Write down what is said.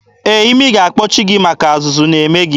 Ee, imi ga-akpọchi gị maka azụzụ na-eme gị.